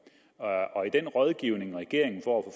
i den rådgivning regeringen får